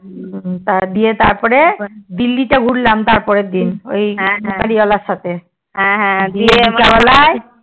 হ্যান দিয়ে তারপর দিল্লি তে ঘুরলাম তার পরের দিন